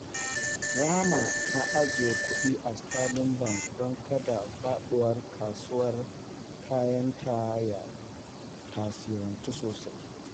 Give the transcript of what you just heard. Rahama ta ajiye kudi a Sterling Bank don kada faduwar kasuwar kayanta ya tasirantu sosai.